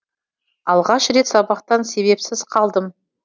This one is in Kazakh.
алғаш рет сабақтан себепсіз қалдым